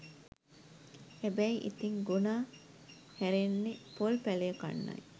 හැබැයි ඉතිං ගොනා හැරෙන්නෙ පොල් පැළය කන්නයි